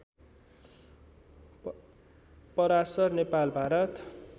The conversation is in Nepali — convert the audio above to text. पराशर नेपाल भारत